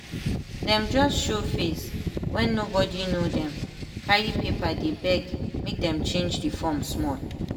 dem just show face wen nobody know dem carry paper dey beg make dem change the form small